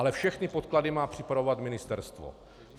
Ale všechny podklady má připravovat ministerstvo.